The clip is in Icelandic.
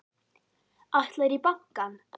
Ætlarðu í bankann?